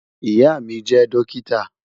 Ìyà mi jẹ dọ́kítà.